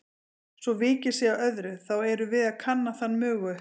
Svo vikið sé að öðru, þá erum við að kanna þann mögu